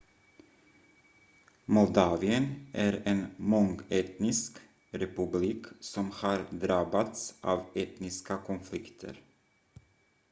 moldavien är en mångetnisk republik som har drabbats av etniska konflikter